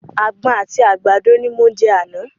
Àgbọn àti àgbàdo ni mo jẹ àná.